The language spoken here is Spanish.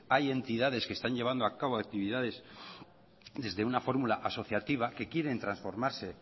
hay entidades que están llevando a cabo actividades desde una fórmula asociativa que quieren transformarse